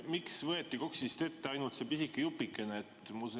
Miks võeti KOKS‑ist ette ainult see pisike jupikene?